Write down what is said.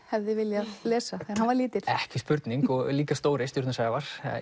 hefði viljað lesa þegar hann var lítill ekki spurning og líka stóri stjörnu Sævar